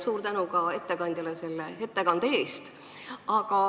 Suur tänu ka ettekandjale ettekande eest!